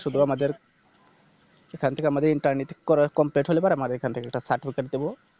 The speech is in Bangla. শুধু আমাদের এখান থেকে আমাদের Interni ঠিক করার Complete হলে পরে আমার এখান থেকে একটা Certificate দিবো